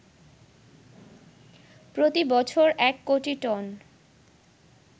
প্রতিবছর ১ কোটি টন